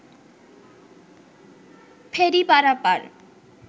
ফেরি পারাপার